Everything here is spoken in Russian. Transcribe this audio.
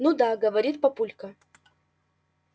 ну да говорит папулька